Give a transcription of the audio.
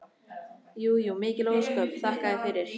Jú jú, mikil ósköp, þakka þér fyrir.